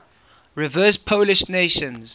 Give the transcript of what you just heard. reverse polish notation